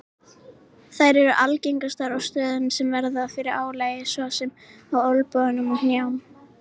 Þær eru algengastar á stöðum sem verða fyrir álagi svo sem á olnbogum og hnjám.